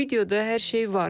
Videoda hər şey var.